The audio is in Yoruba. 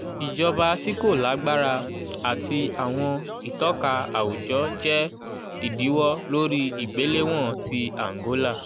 ijọba ti ko lagbara ati awọn itọka awujọ jẹ idiwọ lori igbelewọn ti angola.